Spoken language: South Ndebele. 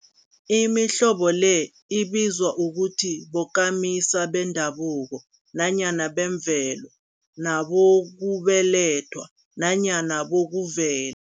Imihlobo le ibizwa ukuthi bokamisa bendabuko nanyana bemvelo, nabokubelethwa nanyana bokuvel